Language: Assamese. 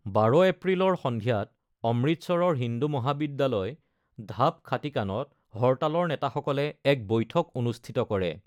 ১২ এপ্ৰিলৰ সন্ধিয়াত অমৃতসৰৰ হিন্দু মহাবিদ্যালয়-ঢাব খাটিকানত হৰ্টালৰ নেতাসকলে এক বৈঠক অনুষ্ঠিত কৰে।